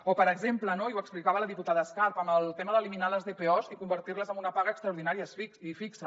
o per exemple no i ho explicava la diputada escarp amb el tema d’eliminar les dpos i convertir les en una paga extraordinària i fixa